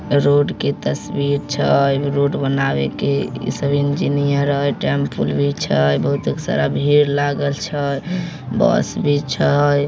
Road के तस्वीर छै रोड बनावे के सब इंजीनियर हय टेम्पोल भी छै बहुत भीड़ लागल छै बस भी छै।